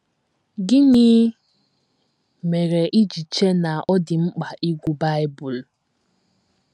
Gịnị mere i ji chee na ọ dị mkpa ịgụ Bible?